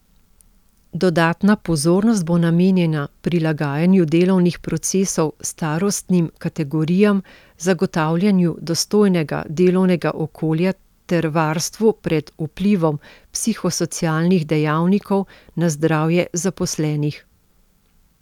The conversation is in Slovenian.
Dodatna pozornost bo namenjena prilagajanju delovnih procesov starostnim kategorijam, zagotavljanju dostojnega delovnega okolja ter varstvu pred vplivom psihosocialnih dejavnikov na zdravje zaposlenih.